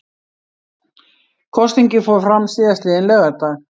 Kosningin fór fram síðastliðinn laugardag